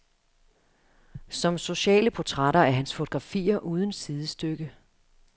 Som sociale portrætter er hans fotografier uden sidestykke.